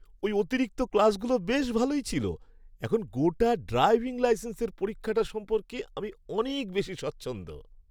ওই অতিরিক্ত ক্লাসগুলো বেশ ভালোই ছিল! এখন গোটা ড্রাইভিং লাইসেন্সের পরীক্ষাটা সম্পর্কে আমি অনেক বেশি স্বচ্ছন্দ।